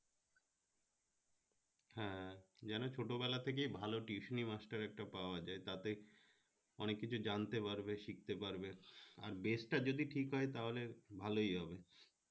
হ্যাঁ যেনো ছোট বেলা থেকেই ভালো tuition master একটা পাওয়া যায় তাতে অনেক কিছু জানতে পারবে শিখতে পারবে আর bage টা যদি ঠিক হয় তাহলে ভালোই হবে